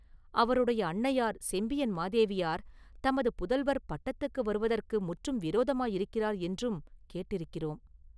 அவருடைய அன்னையார் செம்பியன் மாதேவியார் தமது புதல்வர் பட்டத்துக்கு வருவதற்கு முற்றும் விரோதமாயிருக்கிறார் என்றும் கேட்டிருக்கிறோம்.